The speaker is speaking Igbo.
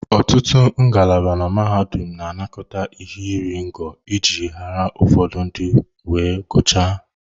Ọtụtụ ngalaba na mahadum na-anakọta ihe iri ngo iji ụfọdụ ndị wee gụchaa.